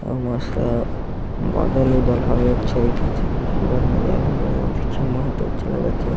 अऊ मस्त बादल उदल हवे अच्छा दिखत हे खूबसूरत नजारा देखे में बहुत अच्छा लगत हे।